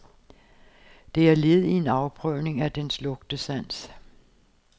Det er led i en afprøvning af dens lugtesans.